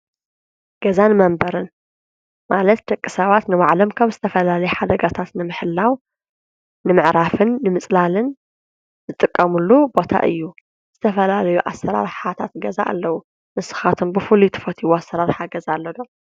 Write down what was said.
ገዛን መንበርን ማለት ደቂ ሰባት ንባዕሎም ካብ ዝተፈላሊየ ሓደጋታት ንምሕላው፣ ንምዕራፍን፣ ንምጽላልን ዝጥቀሙሉ ቦታ እዩ። ዝተፈላለዩ ኣሰራርታት ገዛ ኣለዉ። ንስኻቶም ብፉሉይ ትፈቲዎ ኣሠራርሓ ገዛ ኣለዶ?